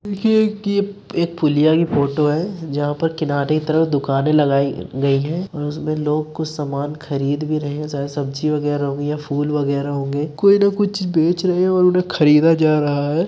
कि एक पुलिया की फोटो है जहां पर किनारे तरफ दुकानें लगाई गई हैं और उसमें लोग कुछ सामान खरीद भी रहे हैं। शायद सब्जी वगैरा होंगे या फूल वगैरा होंगे। कोई ना कुछ चीज बेच रहे हैं और उन्हें खरीदा जा रहा है।